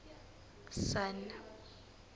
sun